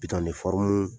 Bitɔn